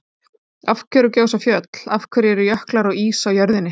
Af hverju gjósa fjöll? og Af hverju eru jöklar og ís á jörðinni?